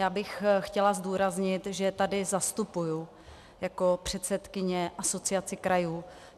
Já bych chtěla zdůraznit, že tady vystupuji jako předsedkyně Asociace krajů.